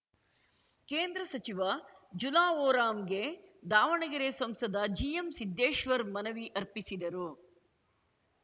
ಕೇಂದ್ರ ಸಚಿವ ಜುಲಾ ಓರಾಮ್‌ಗೆ ದಾವಣಗೆರೆ ಸಂಸದ ಜಿಎಂಸಿದ್ದೇಶ್ವರ್ ಮನವಿ ಅರ್ಪಿಸಿದರು